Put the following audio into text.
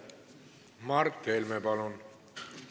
Mart Helme, palun!